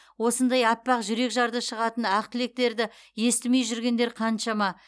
осындай аппақ жүрек жарды шығатын ақ тілектерді естімей жүргендер қаншама